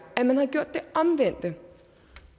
at man havde gjort det omvendte